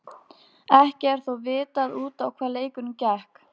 Ekki er þó vitað út á hvað leikurinn gekk.